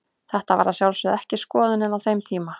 Þetta var að sjálfsögðu ekki skoðunin á þeim tíma.